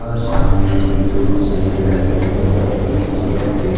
और सामने में दो चेयर लगे हुए है एक चेयर पे--